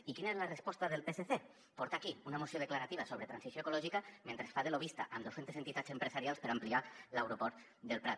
i quina és la resposta del psc portar aquí una moció declarativa sobre transició ecològica mentre fa de lobbista amb dues centes entitats empresarials per ampliar l’aeroport del prat